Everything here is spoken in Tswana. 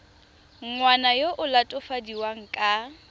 ngwana yo o latofadiwang ka